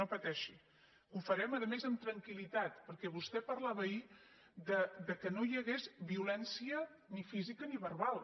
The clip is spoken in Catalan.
no pateixi que ho farem a més amb tranquil·perquè vostè parlava ahir que no hi hagués violència ni física ni verbal